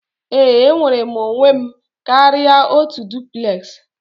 Ee, enwere m onwe m karịa otu duplex